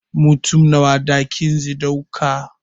Mutum Nawa ɗakin ze ɗauka